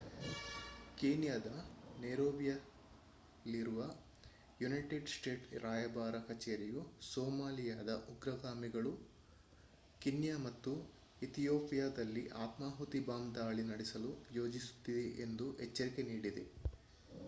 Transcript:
ಕೀನ್ಯಾದ ನೈರೋಬಿಯಲ್ಲಿರುವ United States ರಾಯಭಾರ ಕಚೇರಿಯು ಸೊಮಾಲಿಯಾದ ಉಗ್ರಗಾಮಿಗಳು ಕೀನ್ಯಾ ಮತ್ತು ಇಥಿಯೋಪಿಯಾದಲ್ಲಿ ಆತ್ಮಾಹುತಿ ಬಾಂಬ್ ದಾಳಿ ನಡೆಸಲು ಯೋಜಿಸುತ್ತಿದೆ ಎಂದು ಎಚ್ಚರಿಕೆ ನೀಡಿದೆ